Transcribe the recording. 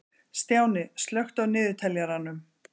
Stjáni, slökktu á niðurteljaranum.